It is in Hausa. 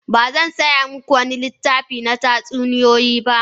Ba zan saya muku wani littafi na tatsuniyoyi ba.